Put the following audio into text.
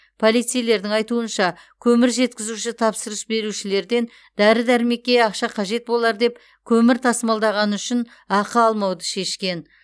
полицейлердің айтуынша көмір жеткізуші тапсырыс берушілерден дәрі дәрмекке ақша қажет болар деп көмір тасымалдағаны үшін ақы алмауды шешкен